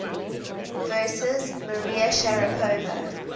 versus maria sharapova